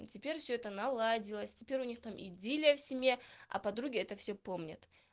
теперь все это наладилось теперь у них там идиллия в семье а подруги это все помнят